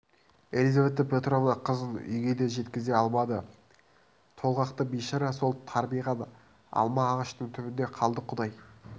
елизавета петровна қызын үйге де жеткізе алмады толғақты бишара сол тарбиған алма ағаштың түбінде қалды құдай